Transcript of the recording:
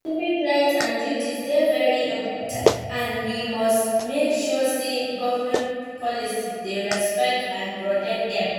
Civic rights and duties dey very important and we must make sure say government policies dey respect and protect dem.